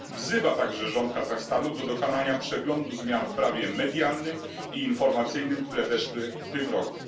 Wzywa także rząd Kazachstanu do dokonania przeglądu zmian w prawie medialnym i informacyjnym, które weszły w tym roku.